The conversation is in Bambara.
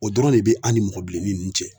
O dɔrɔn de be an' ni mɔgɔ bilennin nunnu cɛ